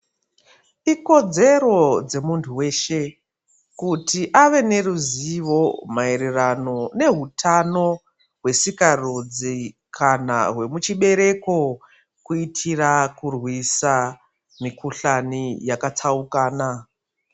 Ikodzero dzemuntu weshe kuti ave neruzivo maererano nehutano hwesikarudzi kana hwemuchibereko kuitira kurwisa mikuhlani yakatsaukana.